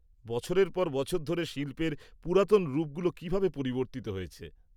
বছরের পর বছর ধরে শিল্পের পুরাতন রূপগুলো কীভাবে পরিবর্তিত হয়েছে?